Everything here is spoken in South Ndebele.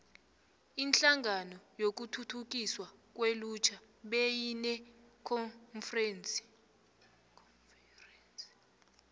inhlangano yokuthuthukiswa kwelutjha beyinekonferense